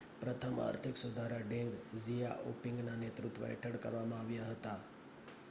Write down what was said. પ્રથમ આર્થિક સુધારા ડેંગ ઝિયાઓપિંગના નેતૃત્વ હેઠળ કરવામાં આવ્યા હતા